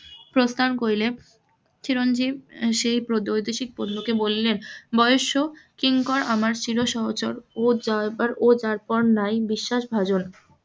প্রস্থান করিলেন, চিরঞ্জীব সেই দ্বৈতশিক কে বললেন বয়স কিঙ্কর আমার চিরসহচর ও যারপরনাই অই যারপরনাই বিশ্বাসভাজন,